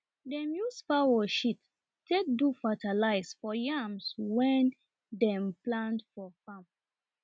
dem use fowl shit take do fatalize for yams wen dem plant for farm